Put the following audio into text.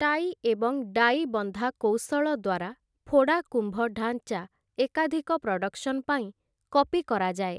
Tie ଏବଂ die ବନ୍ଧା କୌଶଳ ଦ୍ୱାରା, ଫୋଡ଼ା କୁମ୍ଭ ଢାଞ୍ଚା ଏକାଧିକ ପ୍ରଡକ୍ସନ୍ ପାଇଁ କପି କରାଯାଏ ।